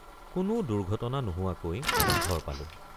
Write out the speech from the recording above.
কোনো দুৰ্ঘটনা নোহোৱাকৈ ঘৰ পালোঁ।